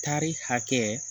Tari hakɛ